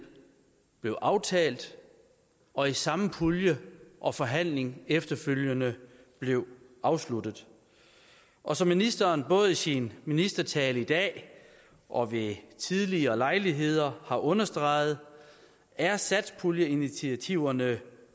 blev aftalt og i samme pulje og forhandling efterfølgende blev afsluttet og som ministeren både i sin ministertale i dag og ved tidligere lejligheder har understreget er satspuljeinitiativerne